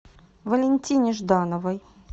валентине ждановой